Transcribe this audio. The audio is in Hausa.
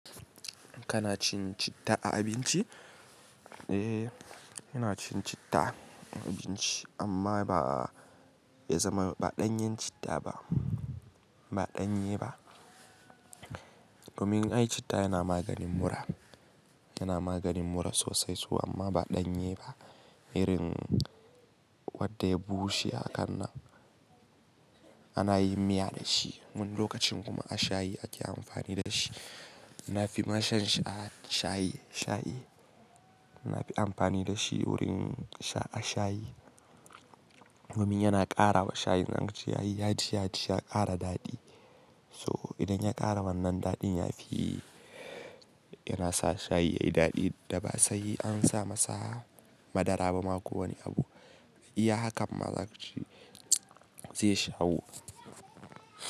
Kana cin citta a abinci? Eh, ina cin citta a abinci amma ba ya zama ba ɗanyan citta ba, ba ɗanye ba. Domin ai citta yana maganin mura, yana maganin mura sosai su amma ba ɗanye ba. Irin wadda ya bushe a kanna ana yin miya da shi. Mun lokacin kuma a shayi ake amfani da shi. Na fi mashan sha shayi, shayi. Na fi amfani da shi wurin a shayi domin yana ƙara wa shayi. Zan ka ce yayi yaji, yaji ya ƙara daɗi. So idan ya ƙara wannan daɗin yafi, yana sa shayi yayi daɗi da ba sai an sa masa madara bama ko wani abu. Ya haka ma za ka ce zai shawo.